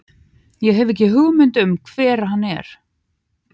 Ég hef ekki hugmynd um hvar hann er.